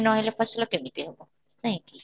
ନ ହେଲେ ଫସଲ କେମିତି ହେବ ନାଇଁ କି?